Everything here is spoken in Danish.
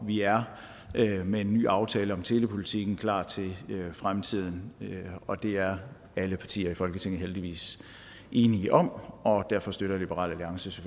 vi er med en ny aftale om telepolitikken klar til fremtiden og det er alle partier i folketinget heldigvis enige om og derfor støtter liberal alliances